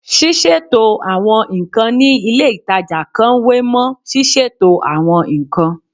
Ṣíṣètò àwọn nǹkan ní ilé ìtajà kan wé mọ́ ṣíṣètò àwọn nǹkan